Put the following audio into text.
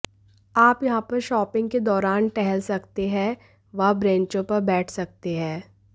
आप यहां पर शॉपिंग के दौरान टहल सकते हैं व ब्रेचों पर बैठ सकते हैं